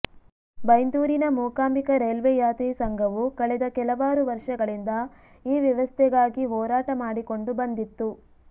ಬೈಂದೂರಿನ Mookambika railway Yatri ಸಂಘವು ಕಳೆದ ಕೆಲವಾರು ವರ್ಷಗಳಿಂದ ಈ ವ್ಯವಸ್ಥೆಗಾಗಿ ಹೋರಾಟ ಮಾಡಿಕೊಂಡು ಬಂದಿತ್ತು